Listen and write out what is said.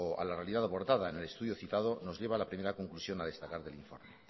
a la realidad abordada en el estudio citado nos lleva a la primera conclusión a destacar del informe